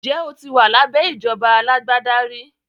Ǹjẹ́ o ti wà lábẹ́ ìjọba alágbádá rí?